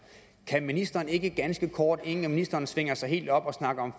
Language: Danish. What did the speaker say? kan ministeren ikke ganske kort inden ministeren svinger sig helt op og snakker om